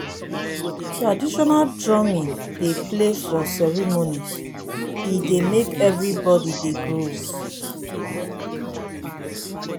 traditional drumming dey play for ceremonies e dey make everybody dey groove.